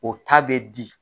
O ta bɛ di.